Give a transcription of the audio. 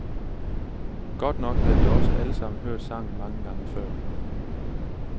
Godt nok havde de også alle sammen hørt sangen mange gange før.